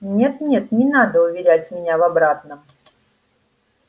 нет нет не надо уверять меня в обратном